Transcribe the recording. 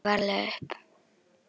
Örn tók nistið varlega upp.